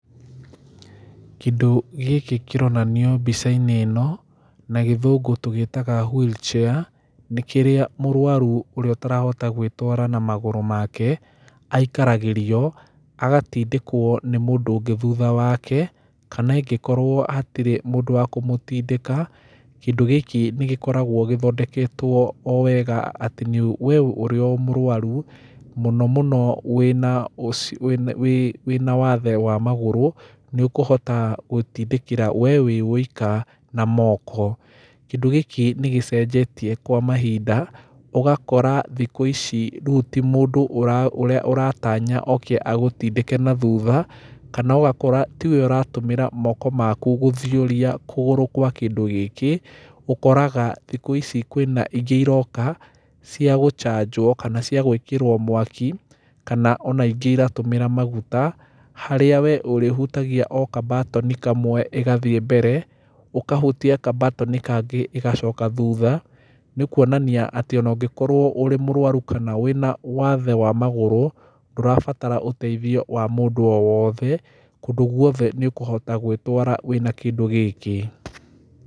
Kĩndũ gĩkĩ kĩronanio mbica-inĩ ĩno na gĩthũngũ tũgĩtaga wheelchair, nĩ kĩrĩa mũrwaru ũrĩa ũtarahota gwĩtwara na magũrũ make aikaragĩrio agatindĩkwo nĩ mũndũ ũngĩ thutha wake, kana ingĩkorwo hatirĩ mũndũ wa kũmũtindĩka, kĩndũ gĩkĩ nĩgĩkoragwo gĩthondeketwo o wega atĩ, nĩ, we ũrĩ o mũrwaru mũno mũno wĩna ũci, wĩna, wĩ, wĩna wathe wa magũrũ nĩũkũhota gwĩtindĩkĩra we wĩ wũika na moko. Kĩndũ gĩkĩ nĩgĩcenjetie kwa mahinda, ũgakora thikũ ici rĩu ti mũndũ ũra, ũra, ũratanya oke agũtindĩke nathutha, kana ũgakora tiwe ũratũmĩra moko maku gũthioria kũgũrũ kwa kĩndũ gĩkĩ, ũkoraga thikũ ici kwĩna ingĩ iroka cia gũcanjwo kana cia gwĩkĩrwo mwaki, kana ona ingĩ iratũmĩra maguta harĩa we ũrĩhutagia o kambatoni kamwe ĩgathiĩ mbere, ũkahutia kambatoni kangĩ ĩgacoka thutha, nĩ kuonania atĩ ona ũngĩkorwo ũrĩ mũrwaru kana wĩna wathe wa magũrũ ndũrabatara ũteithio wa mũndũ o wothe, kũndũ guothe nĩũkũhota gwĩtwara wĩna kĩndũ gĩkĩ.